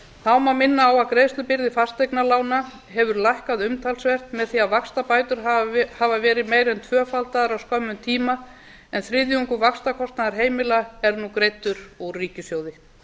þá má minna á að greiðslubyrði fasteignalána hefur lækkað umtalsvert með því að vaxtabætur hafa verið meira en tvöfaldaður á skömmum tíma en þriðjungur vaxtakostnaður heimila er nú greiddur úr ríkissjóði